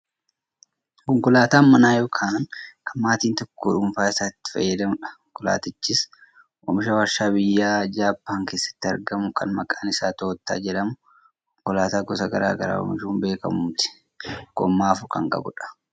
konkolaataa manaa yookaan kan maatiin tokko dhuunfaa isaatti itti fayyadamudha. konkolatichis oomisha waarshaa biyya Jaabban keessatti argamu kan maqqaan isaa tooyyootaa jedhamu konkolaataa gosa gara garaa oomishuun beekkamuuti. gommaa afur kan qabudha.